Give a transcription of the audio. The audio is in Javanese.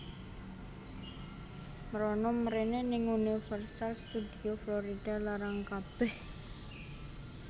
Mrono mrene ning Universal Studio Florida larang kabeh